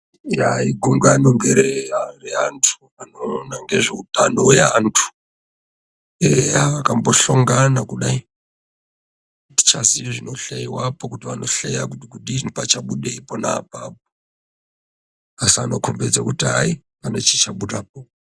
Igungano ngereantu anoona ngezveutano hweantu akambohlongana kudai, atichaziyi zvinohleyiwapo kuti vanohleya kudini pachabudei ponapo asi anokombidze kuti pane chicha budapo.